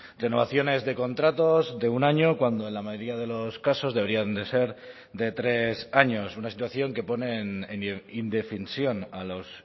renovaciones de contratos de un año cuando en la mayoría de los casos deberían de ser de tres años una situación que ponen en indefensión a los